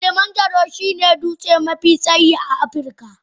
Kilimanjaro shine dutse mafi tsayi a Afirka.